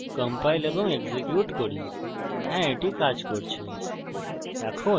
compile এবং execute করি হ্যা এটি কাজ করছে